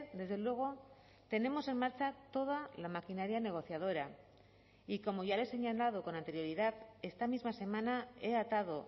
desde luego tenemos en marcha toda la maquinaria negociadora y como ya le he señalado con anterioridad esta misma semana he atado